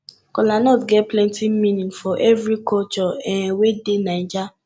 kolanut get plenti meaning for evri koture um wey dey naija